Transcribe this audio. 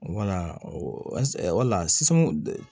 sisan